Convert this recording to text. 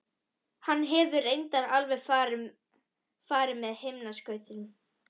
Hann hefur reyndar alveg farið með himinskautum.